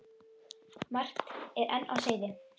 Margt er enn á seyði.